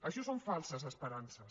això són falses esperances